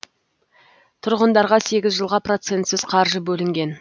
тұрғындарға сегіз жылға процентсіз қаржы бөлінген